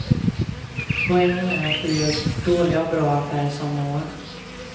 Poängen är att du gör dåliga och bra affärer samma år.